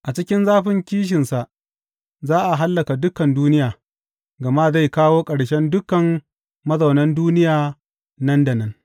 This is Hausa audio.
A cikin zafin kishinsa za a hallaka dukan duniya gama zai kawo ƙarshen dukan mazaunan duniya nan da nan.